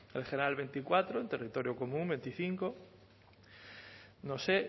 el general veinticuatro en territorio común veinticinco no sé